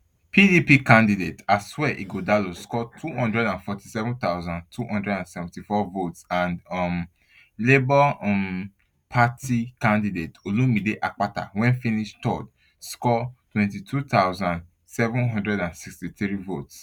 pdp candidate asue ighodalo score two hundred and forty-seven thousand, two hundred and seventy-four votes and um labour um party candidate olumide akpata wey finish third score twenty-two thousand, seven hundred and sixty-three votes